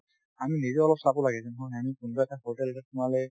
আমি নিজে অলপ চাব লাগে এই যে নহয় আমি কোনোবা এটা hotel এটাত সোমালে